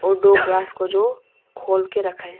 दो ग्लास को जो खोल के रखा है।